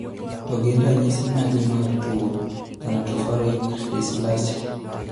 To gin ranyisi mage mar tuo thanatophoric dysplasia?